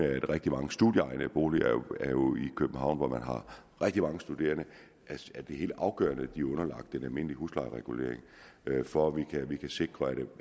er rigtig mange studieboliger i københavn hvor man har rigtig mange studerende og det er helt afgørende at de er underlagt den almindelige huslejeregulering for at vi kan sikre at